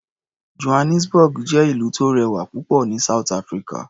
Johannesburg jẹ́ ìlú tó rẹwà púpọ̀ ní South Africa.